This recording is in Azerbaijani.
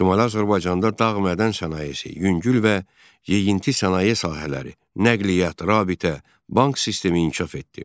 Şimali Azərbaycanda dağ mədən sənayesi, yüngül və yeyinti sənaye sahələri, nəqliyyat, rabitə, bank sistemi inkişaf etdi.